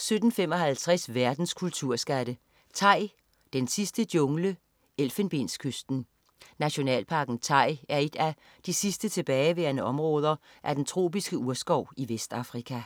17.55 Verdens kulturskatte. "Tai, den sidste jungle, Elfenbenskysten". Nationalparken Tai er et af de sidste tilbageværende områder af den tropiske urskov i Vestafrika